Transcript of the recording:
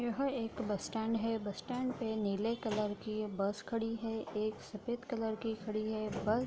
यह एक bus stand है बस स्टैंड पे नीले कलर की बस खड़ी है एक सफ़ेद कलर की खड़ी है बस --